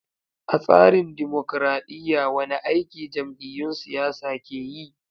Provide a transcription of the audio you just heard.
A tsarin dimokradiyya, wane aiki jam’iyyun siyasa ke yi?